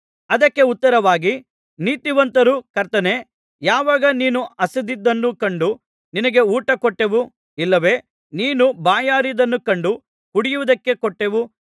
ಅದಕ್ಕೆ ಉತ್ತರವಾಗಿ ನೀತಿವಂತರು ಕರ್ತನೇ ಯಾವಾಗ ನೀನು ಹಸಿದಿದ್ದನ್ನು ಕಂಡು ನಿನಗೆ ಊಟ ಕೊಟ್ಟೆವು ಇಲ್ಲವೆ ನೀನು ಬಾಯಾರಿದ್ದನ್ನು ಕಂಡು ಕುಡಿಯುವುದಕ್ಕೆ ಕೊಟ್ಟೆವು